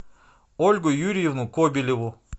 ольгу юрьевну кобелеву